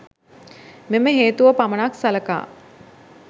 මෙම හේතුව පමණක් සලකා